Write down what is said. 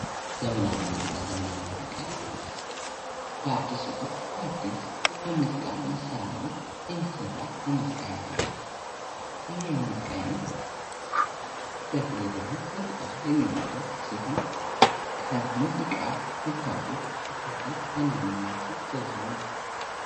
ዘመናዊ ሙዚቃ ዘመናዊ ሙዚቃ በአዲስ መልክ በአዲስ የሙዚቃ መሳርያዎች የሚሰራ የሙዚቃ አይነት ነው። በተለይ ደሞ ወጣቱ የሚያደርገው ሲሆን ሙዚቃ ከምታውቁት መካከል ዋናዋናዎቹን ዘርዝሩ።